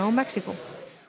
og Mexíkó